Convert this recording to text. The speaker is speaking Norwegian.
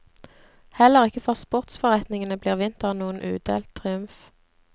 Heller ikke for sportsforretningene blir vinteren noen udelt triumf.